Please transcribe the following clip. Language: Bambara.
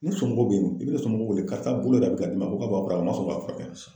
Ni somɔgɔw be yen ,i bi ne somɔgɔw wele karisa bolo be ka dimi a ma sɔn ka furakɛ.